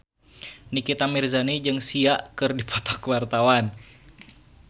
Nikita Mirzani jeung Sia keur dipoto ku wartawan